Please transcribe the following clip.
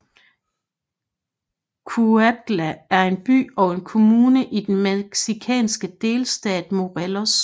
Cuautla er en by og en kommune i den mexikanske delstat Morelos